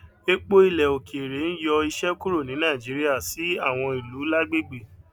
epo ilẹ òkèèrè ń ń yọ iṣẹ kúrò ní nàìjíríà sí àwọn ìlú lágbègbè